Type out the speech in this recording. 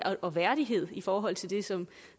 og værdighed i forhold til det som